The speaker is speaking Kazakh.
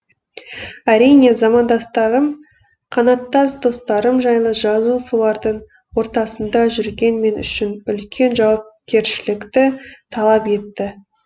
әрине замандастарым қанаттас достарым жайлы жазу солардың ортасында жүрген мен үшін үлкен жауакершілікті талап етті